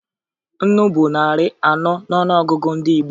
Nnu bụ narị anọ n'ọnụọgụgụ ndị Igbo